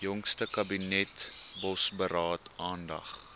jongste kabinetsbosberaad aandag